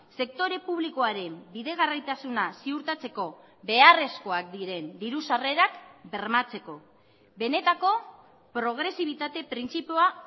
sektore publikoaren bidegarraitasuna ziurtatzeko beharrezkoak diren diru sarrerak bermatzeko benetako progresibitate printzipioa